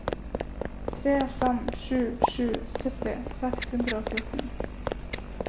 tre fem sju sju sytti seks hundre og fjorten